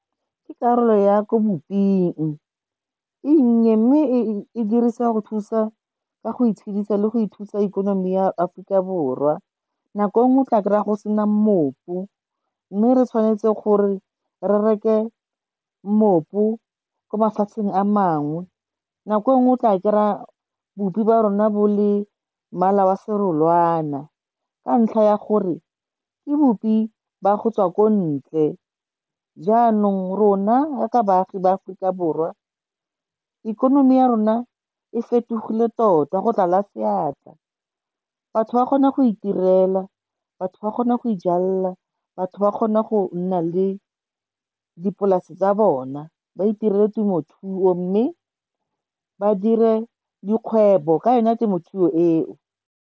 Ke karolo ya ko bopeng, e nnye mme e dirisa go thusa ka go itshedisa le go ithusa ikonomi ya Aforika Borwa nako nngwe o tla kry-a go sena mmopu, mme re tshwanetse gore re reke mmopu ko mafatsheng a mangwe. Nako e nngwe o tla kry-a bupi ba rona bo le mmala wa serolwana, ka ntlha ya gore ke bupi ba go tswa ko ntle, jaanong rona jaaka baagi ba Aforika Borwa ikonomi ya rona e fetogile tota go tlala seatla. Batho ba kgona go itirela, batho ba kgona go ijalela, batho ba kgona go nna le dipolase tsa bona, ba itiretse temothuo. Mme ba dire dikgwebo ka yona temothuo eo.